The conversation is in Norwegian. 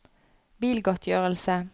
bilgodtgjørelse